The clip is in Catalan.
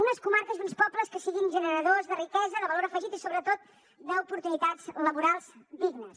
unes comarques i uns pobles que siguin generadors de riquesa de valor afegit i sobretot d’oportunitats laborals dignes